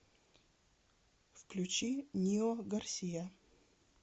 включи нио гарсия